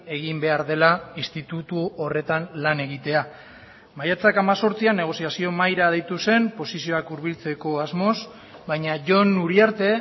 egin behar dela institutu horretan lan egitea maiatzak hemezortzian negoziazio mahaira deitu zen posizioak hurbiltzeko asmoz baina jon uriarte